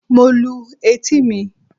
Mo lu etí mi.